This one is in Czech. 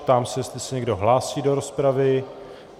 Ptám se, jestli se někdo hlásí do rozpravy.